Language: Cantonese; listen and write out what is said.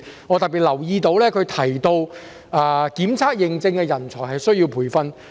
我特別留意到他提及需要培訓檢測認證的人才。